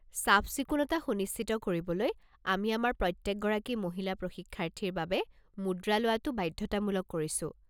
চাফ-চিকুণতা সুনিশ্চিত কৰিবলৈ, আমি আমাৰ প্ৰত্যেক গৰাকী মহিলা প্ৰশিক্ষাৰ্থীৰ বাবে মুদ্ৰা লোৱাটো বাধ্যতামূলক কৰিছো।